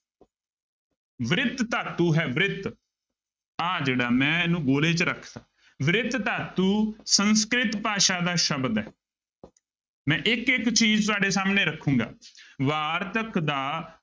ਬ੍ਰਿਤ ਧਾਤੂ ਹੈ ਬ੍ਰਿਤ ਆਹ ਜਿਹੜਾ ਮੈਂ ਇਹਨੂੰ ਗੋਲੇ ਚ ਰੱਖਤਾ, ਬ੍ਰਿਤ ਧਾਤੂ ਸੰਸਕ੍ਰਿਤ ਭਾਸ਼ਾ ਦਾ ਸ਼ਬਦ ਹੈ ਮੈਂ ਇੱਕ ਇੱਕ ਚੀਜ਼ ਤੁਹਾਡੇ ਸਾਹਮਣੇ ਰੱਖਾਂਗਾ ਵਾਰਤਕ ਦਾ